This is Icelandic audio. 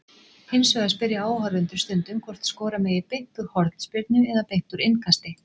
Hins vegar spyrja áhorfendur stundum hvort skora megi beint úr hornspyrnu- eða beint úr innkasti.